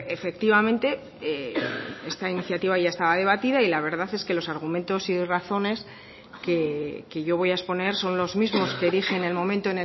efectivamente esta iniciativa ya estaba debatida y la verdad es que los argumentos y razones que yo voy a exponer son los mismos que dije en el momento